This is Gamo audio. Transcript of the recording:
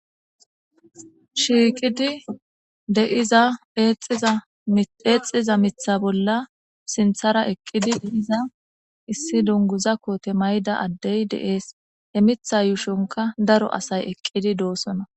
Shiiqidi deiza eexxiza mitha bolla sinthara eqqidi deiza issi dunguza koote mayda addey deees emitha yuushonka daro asay eqqidi doosona.